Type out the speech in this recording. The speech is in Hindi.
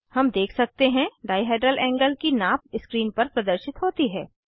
हम देख सकते हैं डाइहेड्रल एंगल की नाप स्क्रीन पर प्रदर्शित होती है